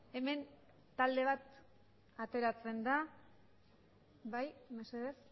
hemen talde bat ateratzen da bai mesedez